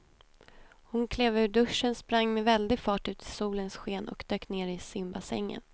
Hon klev ur duschen, sprang med väldig fart ut i solens sken och dök ner i simbassängen.